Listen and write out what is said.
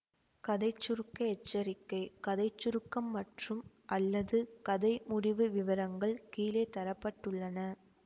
கதை சுருக்க எச்சரிக்கை கதை சுருக்கம் மற்றும் அல்லது கதை முடிவு விவரங்கள் கீழே தர பட்டுள்ளன